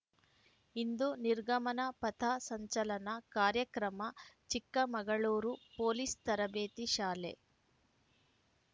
ಇಂದು ನಿರ್ಗಮನ ಪಥ ಸಂಚಲನ ಕಾರ್ಯಕ್ರಮ ಚಿಕ್ಕಮಗಳೂರು ಪೊಲೀಸ್‌ ತರಬೇತಿ ಶಾಲೆ